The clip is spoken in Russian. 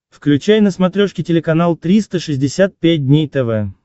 включай на смотрешке телеканал триста шестьдесят пять дней тв